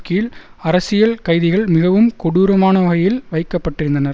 கீழ் அரசியல் கைதிகள் மிகவும் கொடூரமான வகையில் வைக்க பட்டிருந்தனர்